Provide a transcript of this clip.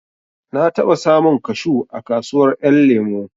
Na taɓa samun kashu a kasuwar ƴan lemo